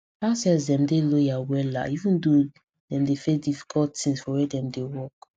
househelps dem dey loyal wella even though dem dey face difficult things for where dem dey work